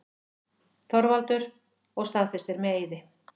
ÞORVALDUR: Og staðfestir með eiði.